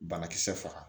Banakisɛ faga